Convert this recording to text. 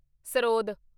sarod